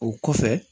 O kɔfɛ